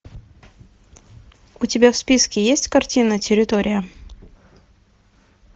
у тебя в списке есть картина территория